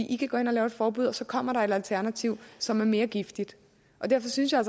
i kan gå ind og lave et forbud og så kommer der et alternativ som er mere giftigt og derfor synes jeg